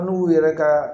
N'u yɛrɛ ka